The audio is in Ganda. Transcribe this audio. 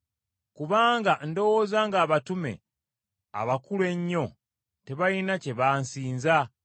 Kubanga ndowooza ng’abatume abakulu ennyo tebalina kye bansinza.